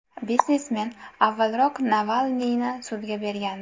Biznesmen avvalroq Navalniyni sudga bergandi.